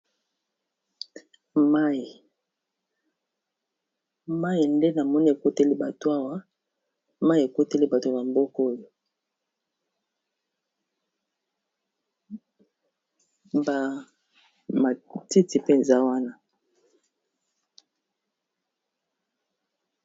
Mayi, mayi nde namoni ekoteli bato awa mayi ekoteli bato ya mboko oyo ba matiti mpe eza wana.